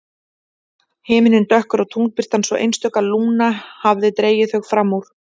Himinninn dökkur og tunglbirtan svo einstök að Lúna hafði dregið þau fram úr.